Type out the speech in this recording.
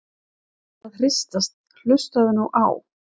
að hristast- hlustaðu nú á!